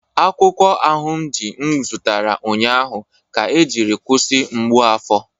Akwukwo ahunji m zụtara ụnyaahụ ka ejiri kwụsị mgbu afọ